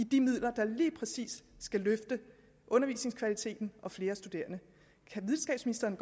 de midler der lige præcis skulle løfte undervisningskvaliteten og bringe flere studerende kan videnskabsministeren